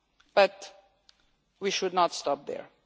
But we should not stop there.